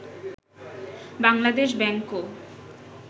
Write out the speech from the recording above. Bangladesh ব্যাংকও